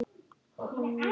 Hafðu þökk fyrir, Erna mín.